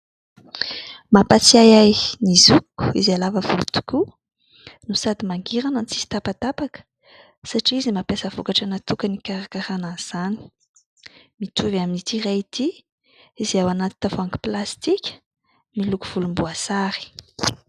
Mampatsiahy ahy ny zokiko izay lava volo tokoa no sady mangirana no tsisy tapatapaka satria izy nampiasa vokatra natokany ikarakaran an'izany, mitovy amin'ity iray ity izay ao anaty tavoahangy plastika miloko volomboasary.